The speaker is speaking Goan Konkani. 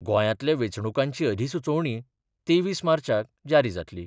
गोंयांतल्या वेंचणुकांची अधिसुचोवणी तेवीस मार्चाक जारी जातली.